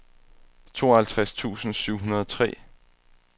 tooghalvtreds tusind syv hundrede og tre